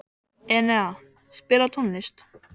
Enea, spilaðu tónlist.